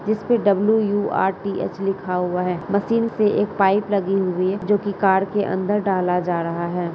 जिसपे W U R T H लिखा हुआ है। मशीन से एक पाइप लगी हुई है जो कि कार के अंदर डाला जा रहा है।